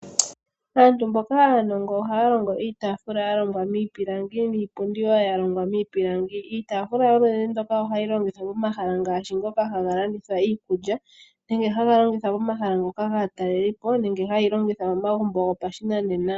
Aantu mboka aanongo ohaya longo iitafula ya longwa miipilangi niipundi wo ya longwa miipilangi. Iitafula yoludhi ndoka ohayi longithwa pomahala ngaashi ngoka haga landitha iikulya nenge haga longithwa pomahala ngoka gaataleli po nenge ha yeyi longitha momagumbo gopashinanena.